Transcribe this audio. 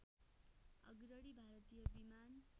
अग्रणी भारतीय विमान